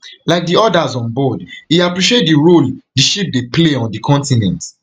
like di odas onboard e appreciate di role di ship dey play on di continent